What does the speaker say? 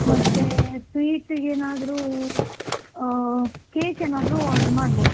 ಮತ್ತೆ, sweet ಗೆ ಏನಾದ್ರು, ಅ cake ಏನಾದ್ರು order ಮಾಡ್ಬೋದು.